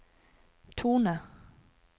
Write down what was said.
tone